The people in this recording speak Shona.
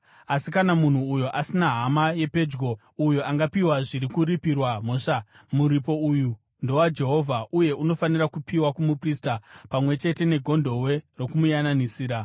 Asi kana munhu uyo asina hama yepedyo uyo angapiwa zviri kuripirwa mhosva, muripo uyu ndowaJehovha uye unofanira kupiwa kumuprista, pamwe chete negondobwe rokumuyananisira.